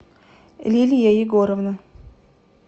лилия егоровна